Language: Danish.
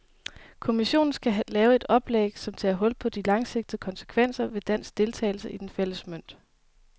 Kommissionen skal lave et oplæg, som tager hul på de langsigtede konsekvenser ved dansk deltagelse i den fælles mønt.